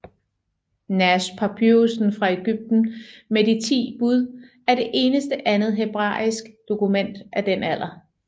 Nash Papyrussen fra Egypten med de 10 bud er det eneste andet hebraiske dokument af den alder